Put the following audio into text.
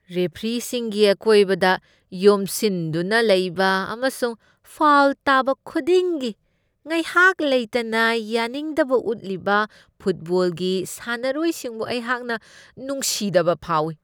ꯔꯦꯐꯔꯤꯁꯤꯡꯒꯤ ꯑꯀꯣꯏꯕꯗ ꯌꯣꯝꯁꯤꯟꯗꯨꯅ ꯂꯩꯕ ꯑꯃꯁꯨꯡ ꯐꯥꯎꯜ ꯇꯥꯕ ꯈꯨꯗꯤꯡꯒꯤ ꯉꯥꯏꯍꯥꯛ ꯂꯩꯇꯅ ꯌꯥꯅꯤꯡꯗꯕ ꯎꯠꯂꯤꯕ ꯐꯣꯠꯕꯣꯜꯒꯤ ꯁꯥꯟꯅꯔꯣꯏꯁꯤꯡꯕꯨ ꯑꯩꯍꯥꯛꯅ ꯅꯨꯡꯁꯤꯗꯕ ꯐꯥꯎꯏ ꯫